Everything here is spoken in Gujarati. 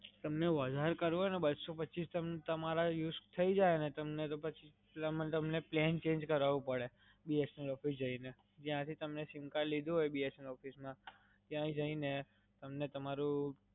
તમને વધારે કરવું હોઈને, બસો પચીસ તમારે use થઈ જાય ને તમને તો પછી એમાં તમને plan change કરાવવું પડે BSNL office જઈને જ્યાંથી તમે SIM card લીધું હોય BSNL office માં, ત્યાં જઈને તમને તમારું